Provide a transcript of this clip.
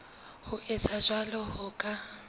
ho etsa jwalo ho ka